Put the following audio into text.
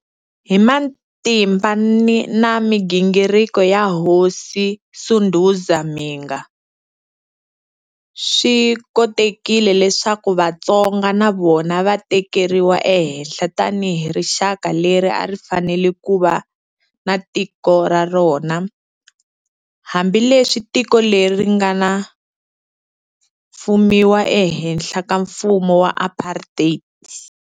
Hi matimba na migingiriko ya Hosi Sunduza Mhinga, swi kotekile leswaku Vatsonga na vona va tekeriwa ehenhla tani hi rixaka leri a ri fanele kuva na tiko ra rona, hambi leswi tiko leri ri nga fumiwa e henhla ka mfumu wa Apartheid.